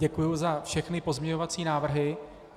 Děkuju za všechny pozměňovací návrhy.